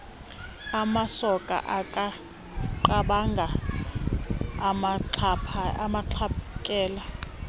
amasoka akanqabanga amxhaphakele